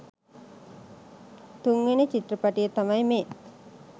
තුන්වෙනි චිත්‍රපටිය තමයි මේ.